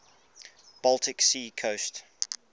baltic sea coast